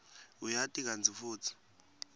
uyati kantsi futsi